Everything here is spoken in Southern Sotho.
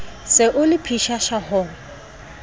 se o le pshasha ho